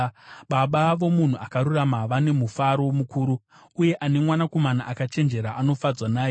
Baba vomunhu akarurama vane mufaro mukuru; uyo ane mwanakomana akachenjera anofadzwa naye.